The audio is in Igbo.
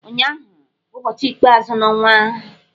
Ụnyụahụ bụ ụbọchị ikpeazụ n'ọnwa.